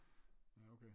Ja okay